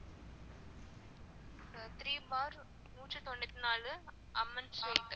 ஆஹ் three bar நூற்றி தொன்னுத்தி நாலு, அம்மன் street